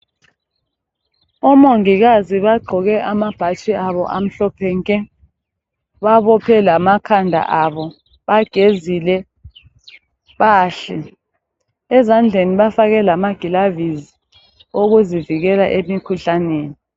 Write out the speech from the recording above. Omongikazi bagqoke amabhatshi abo amhlophe nke babophe lamakhanda abo bagezile bahle ezandleni bafake lamagilavizi okuzivikela emikhuhlaneni.